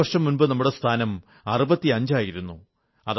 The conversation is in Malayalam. അഞ്ചുവർഷം മുമ്പ് നമ്മുടെ സ്ഥാനം 65 ആയിരുന്നു